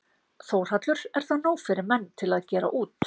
Þórhallur: Er það nóg fyrir menn til að gera út?